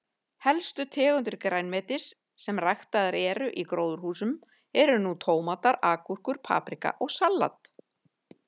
Helstu tegundir grænmetis sem ræktaðar eru í gróðurhúsum eru nú tómatar, agúrkur, paprika og salat.